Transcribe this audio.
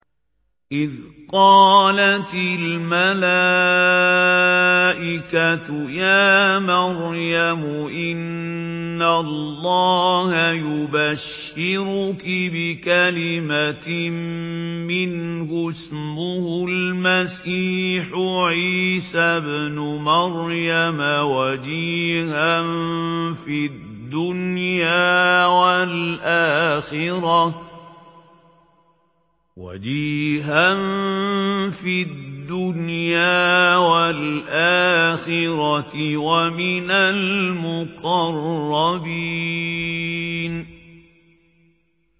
إِذْ قَالَتِ الْمَلَائِكَةُ يَا مَرْيَمُ إِنَّ اللَّهَ يُبَشِّرُكِ بِكَلِمَةٍ مِّنْهُ اسْمُهُ الْمَسِيحُ عِيسَى ابْنُ مَرْيَمَ وَجِيهًا فِي الدُّنْيَا وَالْآخِرَةِ وَمِنَ الْمُقَرَّبِينَ